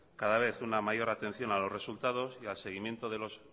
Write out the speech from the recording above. cada vez una mayor atención a los resultados y al seguimiento